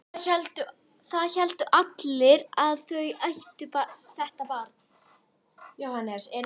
Það héldu allir að þau ættu þetta barn.